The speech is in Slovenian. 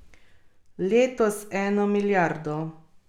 Letos eno milijardo.